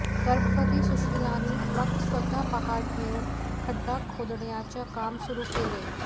गर्भवती सुशीलांनी मग स्वतः पहार घेऊन खड्डा खोदण्याचे काम सुरु केले